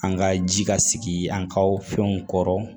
An ka ji ka sigi an ka fɛnw kɔrɔ